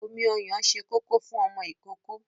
Omi ọyàn ṣe kókó fún ọmọ ìkókó.